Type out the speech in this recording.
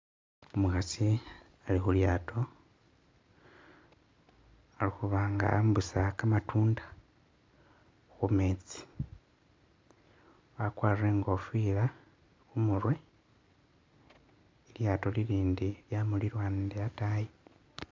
Umukhaasi ali khulyaato ali khuba nga a'mbusa kamatunda khumeetsi, wakwalire i'ngofila khumurwe, lilyaato lilindi lyamulilwanile a'taayi.